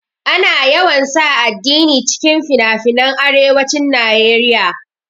Ana yawan sa addini cikin finafinan arewacin naeriya